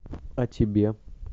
а тебе